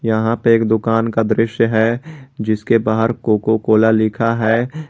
यहां पे एक दुकान का दृश्य है जिसके बाहर कोको कोला लिखा है।